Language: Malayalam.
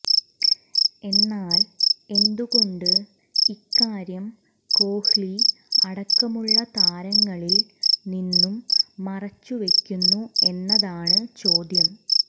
എന്നാൽ എന്തുകൊണ്ട് ഇക്കാര്യം കോഹ്ലി അടക്കമുള്ള താരങ്ങളിൽ നിന്നും മറച്ചു വെയ്ക്കുന്നു എന്നതാണ് ചോദ്യം